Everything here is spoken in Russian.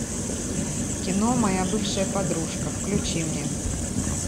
кино моя бывшая подружка включи мне